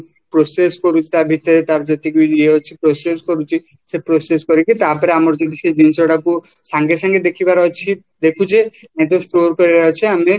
process କରୁଛିତା ଭିତରେ ତାର ଯେତିକିବି ଇଏ ଅଛି process କରୁଛି ସେ prossesକି ତାପରେ ଆମର ଯେମିତି ସେ ଜିନିଷ ଗୁଡାକୁ ସାଙ୍ଗେ ସାଙ୍ଗେ ଦେଖିବାର ଅଛି store କରିବାର ଅଛି